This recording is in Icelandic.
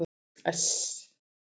S